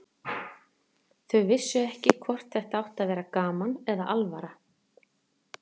Þau vissu ekki hvort þetta átti að vera gaman eða alvara.